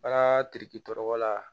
Bagantigi tɔgɔ la